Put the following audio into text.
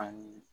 Ani